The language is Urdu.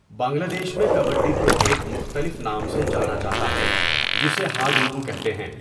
بنگلہ دیش میں کبڈی کو ایک مختلف نام سے جانا جاتا ہے جسے 'ہا دو دو' کہتے ہیں.